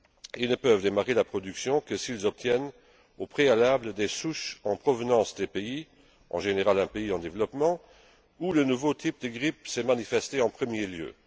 Ils ne peuvent démarrer la production que s'ils obtiennent au préalable des souches en provenance des pays en général un pays en développement où le nouveau type de grippe s'est manifesté en premier lieu.